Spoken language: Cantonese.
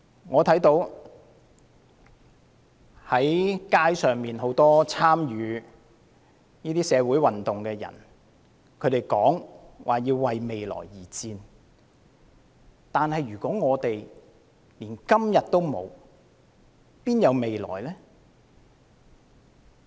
我看到街上很多參與社會運動的人說要為未來而戰，但如果連今天也沒有，又哪有未來呢？